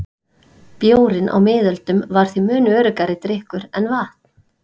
Bjórinn á miðöldum var því mun öruggari drykkur en vatn.